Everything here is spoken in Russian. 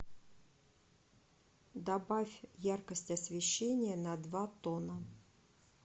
добавь яркость освещения на два тона